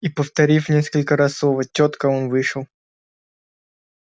и повторив несколько раз слово тётка он вышел